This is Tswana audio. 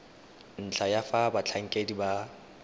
ntlha ya fa batlhankedi ba